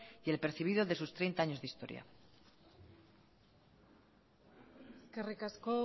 y el percibido de sus treinta años de historia eskerrik asko